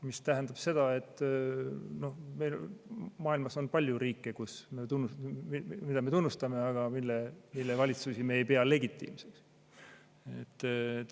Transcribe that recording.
See tähendab seda, et maailmas on palju riike, mida me tunnustame, aga mille valitsusi me ei pea legitiimseks.